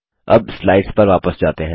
अब स्लाइड्स पर वापस जाते हैं